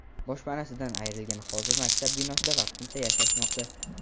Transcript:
Boshpanasidan ayrilganlar hozir maktab binosida vaqtincha yashashmoqda.